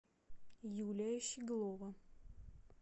юлия щеглова